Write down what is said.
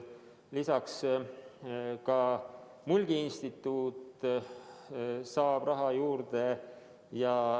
Lisaks ka Mulgi Kultuuri Instituut saab raha juurde.